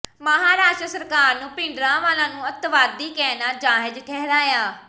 ਮਹਾਰਾਸ਼ਟਰ ਸਰਕਾਰ ਨੇ ਭਿੰਡਰਾਂਵਾਲਾ ਨੂੰ ਅੱਤਵਾਦੀ ਕਹਿਣਾ ਜਾਇਜ਼ ਠਹਿਰਾਇਆ